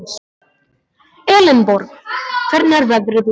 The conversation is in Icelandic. Elenborg, hvernig er veðrið úti?